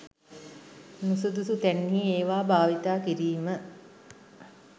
නුසුදුසු තැන්හි ඒවා භාවිතා කිරීම